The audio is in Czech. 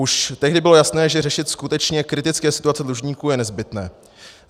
Už tehdy bylo jasné, že řešit skutečně kritické situace dlužníků je nezbytné.